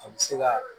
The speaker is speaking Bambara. A bɛ se ka